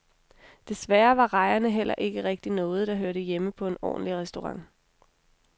Desværre var rejerne heller ikke rigtig noget, der hørte hjemme på en ordentlig restaurant.